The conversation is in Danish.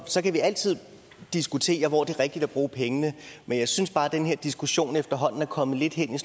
så kan vi altid diskutere hvor det er rigtigt at bruge pengene men jeg synes bare den her diskussion efterhånden er kommet lidt hen i